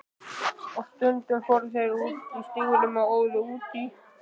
Og stundum fóru þeir úr stígvélunum og óðu út í.